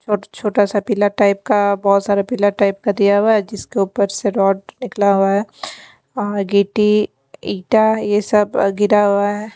छोटा सा पीला टाइप का बहुत सारा पीला टाइप का दिया हुआ है जिसके ऊपर से रॉड निकला हुआ है और गीटी ईटा यह सब गिरा हुआ है।